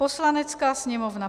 Poslanecká sněmovna.